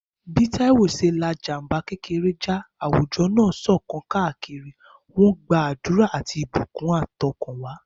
Bí Taiwo ṣe la ìjàm̀bá kékeré já, àwùjọ náà ṣọ̀kan káàkiri, wọ́n ń gbàdúrà àti ìbùkún àtọkànwá.